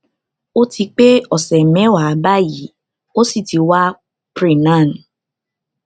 ó ti pé ọsẹ mẹwàá báyìí ó sì ti wa pre nan